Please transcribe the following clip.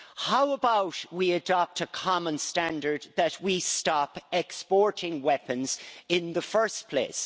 How about we adopt a common standard that we stop exporting weapons in the first place?